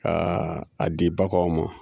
Ka a di baganw ma